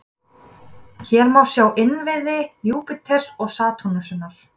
Hér má sjá innviði Júpíters og Satúrnusar.